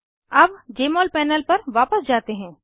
अब जमोल पैनल पर वापस जाते हैं